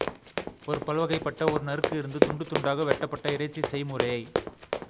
ஒரு பல்வகைப்பட்ட ஒரு நறுக்கு இருந்து துண்டு துண்தாக வெட்டப்பட்ட இறைச்சி செய்முறையை